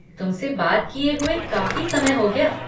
तुमसे बात किए हुए काफ़ी समय हो गया।